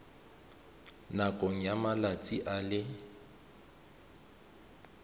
nakong ya malatsi a le